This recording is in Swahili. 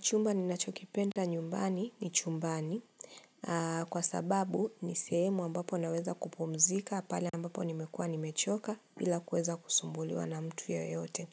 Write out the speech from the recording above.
Chumba ninachokipenda nyumbani ni chumbani, kwa sababu nisehemu ambapo naweza kupumzika pale ambapo nimekua nimechoka bila kuweza kusumbuliwa na mtu yoyote.